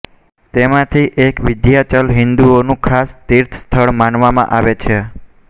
તેમાંથી એક વિંધ્યાચલ હિંદુઓનું ખાસ તીર્થ સ્થળ માનવામાં આવે છે